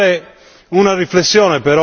internazionale importante.